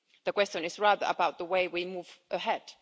The question is rather about the way we move ahead.